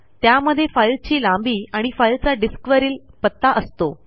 त्यामध्ये फाईलची लांबी आणि फाईलचा डिस्कवरील पत्ता असतो